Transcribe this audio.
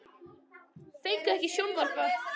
Fengu ekki að sjónvarpa frá Hörpu